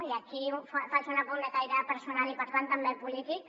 i aquí faig un apunt de caire personal i per tant també polític